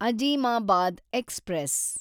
Azimabad express